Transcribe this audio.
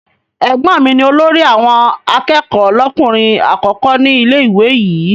Ẹ̀gbọ́n mi ni olórí àwọn akẹ́kọ̀ọ́ lọ́kùnrin àkọ́kọ́ ní ilé-ìwé yìí.